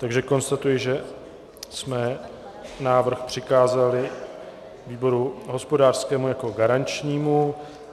Takže konstatuji, že jsme návrh přikázali výboru hospodářskému jako garančnímu.